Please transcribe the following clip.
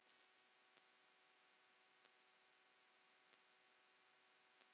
hjá STEF.